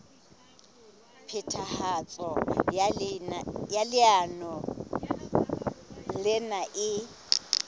phethahatso ya leano lena e